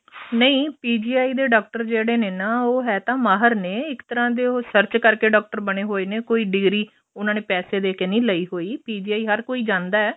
ਨਹੀਂ PGI ਦੇ doctor ਜਿਹੜੇ ਨੇ ਨਾ ਉਹ ਇਹ ਤਾ ਮਾਹਿਰ ਨੇ ਇੱਕ ਤਰ੍ਹਾਂ ਦੇ ਉਹ search ਕਰਕੇ ਡਾਕਟਰ ਬਣੇ ਹੋਏ ਨੇ ਕੋਈ degree ਉਹਨਾ ਨੇ ਪੈਸੇ ਦੇ ਕੇ ਨਹੀਂ ਲਈ ਹੋਈ PGI ਹਰ ਕੋਈ ਜਾਂਦਾ